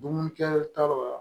Dumunikɛtaw la